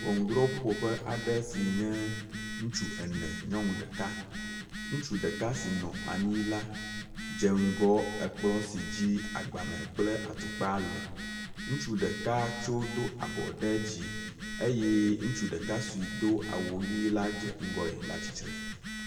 Ŋɔnudrɔ ƒuƒoƒe aɖe si nye ŋutsu ene nyɔŋu ɖeka, ŋutsu ɖeka si nɔ anyi la dze ŋgɔ ekplɔ̃ si dzi agbalẽ kple atukpa le, ŋutsu ɖeka tso do abɔ ɖe dzi eye ŋutsu ɖeka si do awu ʋi la dze ŋgɔe la tsitre.